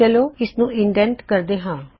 ਚਲੋ ਇਸਨੂੰ ਇਨਡੈੱਨਟ ਕਰਦੇ ਹਾਂ